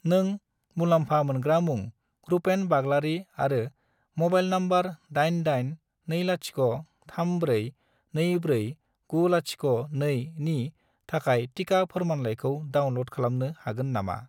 नों मुलामफा मोनग्रा मुं रुपेन बाग्लारि आरो म'बाइल नम्बर 88203424902 नि थाखाय टिका फोरमानलाइखौ डाउनल'ड खालामनो हागोन नामा?